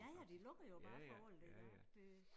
Ja ja de lukker jo bare for alt ikke også det